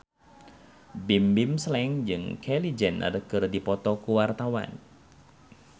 Bimbim Slank jeung Kylie Jenner keur dipoto ku wartawan